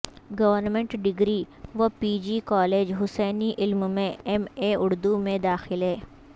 government degree و P G college Hussaini Alam میں M A Urdu میں داخلے